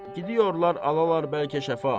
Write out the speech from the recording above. Gidiyorlar, alalar bəlkə şəfa.